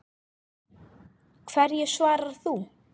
Hverju svarar þú?